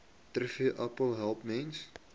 trvterapie help mense